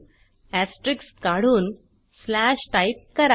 asterisk काढून slash type करा